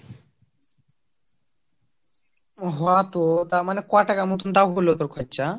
হ তো তার মানে ক টাকা মতো তোর হল খরচ ?